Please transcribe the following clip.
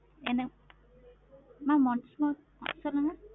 என்ன? mam once more சொல்லுங்க